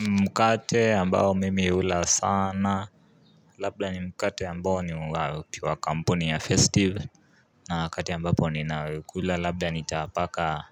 Mkate ambayo mimi ula sana Labda ni mkate ambayo ni wakampuni ya festive na kati ambapo ni na ukula Labda ni tapaka